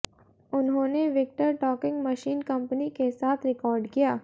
उन्होंने Victor talking machine company के साथ रिकॉर्ड किया